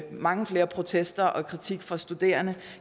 mange flere protester og kritik fra studerende